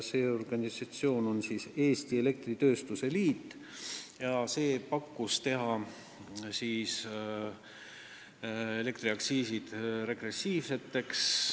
Selle tegi organisatsioon Eesti Elektritööstuse Liit, kelle soov oli, et elektriaktsiisid muudetaks regressiivseks.